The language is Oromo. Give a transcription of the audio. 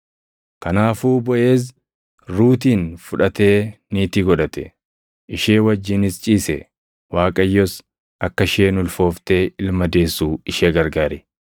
Kanaafuu Boʼeez Ruutin fudhatee niitii godhate. Ishee wajjinis ciise; Waaqayyos akka isheen ulfooftee ilma deessu ishee gargaare.